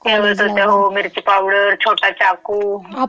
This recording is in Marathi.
ठेवत होत्या. हो, मिर्ची पावडर, छोटा चाकू.